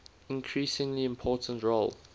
increasingly important role